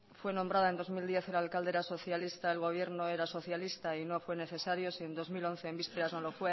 fue nombrada en dos mil diez el alcalde era socialista el gobierno era socialista y no fue necesario si en dos mil once en vísperas no lo